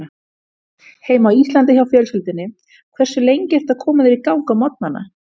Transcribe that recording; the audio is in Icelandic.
Heima á Íslandi hjá fjölskyldunni Hversu lengi ertu að koma þér í gang á morgnanna?